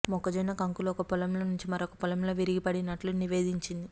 మొక్కజొన్న కంకులు ఒక పొలంలో నుంచి మరొక పొలంలో విరిగిపడినట్లు నివేదించిం ది